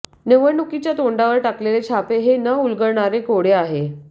निवडणुकीच्या तोंडावर टाकलेले छापे हे न उलगडणारे कोडे आहे